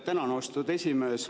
Tänan, austatud esimees!